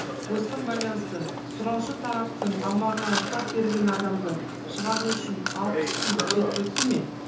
осыған байланысты сұраушы тараптың аумағынан ұстап берген адамды шығару үшін алпыс күн жекілікті ме